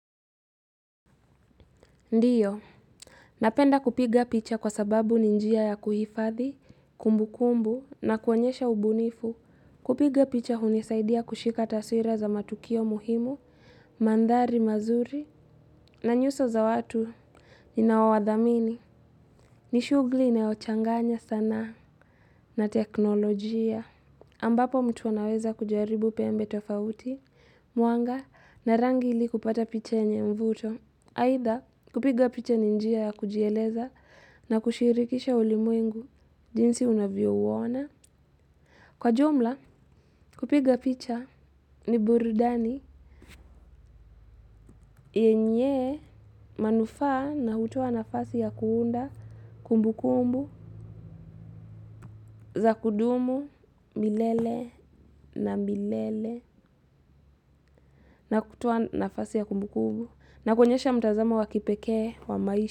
Ndiyo. Napenda kupiga picha kwa sababu ni njia ya kuhifadhi, kumbukumbu na kuonyesha ubunifu. Kupiga picha hunisaidia kushika taswira za matukio muhimu, mandhari mazuri na nyuso za watu ninao wadhamini. Ni shugli inayo changanya sanaa. Na teknolojia. Ambapo mtu anaweza kujaribu pembe tofauti, muanga na rangi ili kupata picha yenye mvuto. Aitha kupiga picha ni njia ya kujieleza na kushirikisha ulimwengu jinsi unavyo uona. Kwa jumla kupiga picha ni burudani yenye manufaa na hutoa nafasi ya kuunda kumbukumbu za kudumu milele na milele na hutoa nafasi ya kumbukumbu na kuoenyesha mtazamo wa kipekee wa maisha.